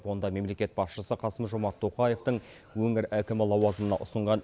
онда мемлекет басшысы қасым жомарт тоқаевтың өңір әкімі лауазымына ұсынған